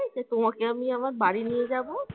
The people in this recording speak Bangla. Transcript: যে তোমাকে আমি আমার বাড়ি নিয়ে যাব